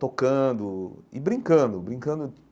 tocando e brincando, brincando.